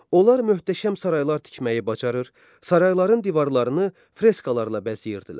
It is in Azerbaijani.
Onlar möhtəşəm saraylar tikməyi bacarır, sarayların divarlarını freskalarla bəzəyirdilər.